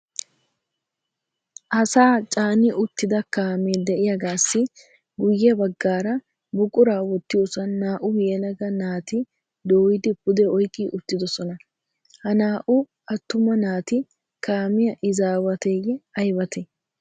Asaa caani uttida kaame de"iyaagaassi guyye baggaara buquraa wottiyoosa naa"u yelaga naati dooyidi pude oyqqi uttidosona. Ha naa"u attuma naati kaamiya izaawateeyye aybatee?